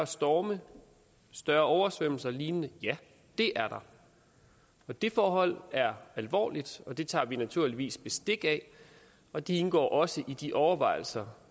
storme større oversvømmelser eller lignende ja det er der og det forhold er alvorligt og det tager vi naturligvis bestik af og det indgår også i de overvejelser